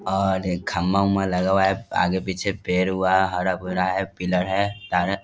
और एक खम्भा-उम्बा लगा हुआ है आगे-पीछे पेड़वा हरा-भरा है पिलर है --